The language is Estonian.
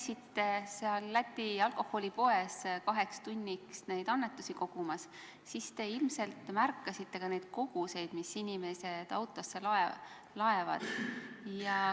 Kui te seal Läti alkoholipoes kaks tundi neid annetusi kogusite, siis te ilmselt märkasite ka neid koguseid, mis inimesed autosse laadivad.